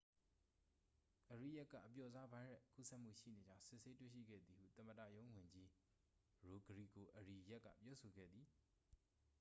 အရီယက်က အပျော့စားဗိုင်းရပ်စ်ကူးစက်မှုရှိနေကြောင်း စစ်ဆေးတွေ့ရှိခဲ့သည်ဟု သမ္မတရုံးဝန်ကြီး ရိုဂရီဂို အရီယက်က ပြောဆိုခဲ့သည်